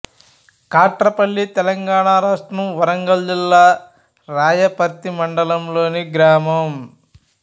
కాట్రపల్లి తెలంగాణ రాష్ట్రం వరంగల్ జిల్లా రాయపర్తి మండలం లోని గ్రామం